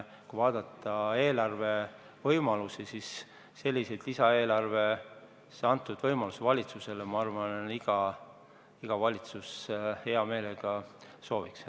Kui vaadata eelarve võimalusi, siis praegu on lisaeelarvega antud valitsusele sellised võimalused, mida iga valitsus hea meelega näeb.